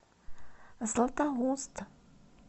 златоуст